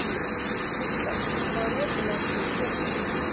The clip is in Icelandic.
Kristall, hvað er opið lengi í Pétursbúð?